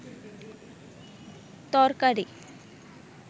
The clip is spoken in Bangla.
তরকারি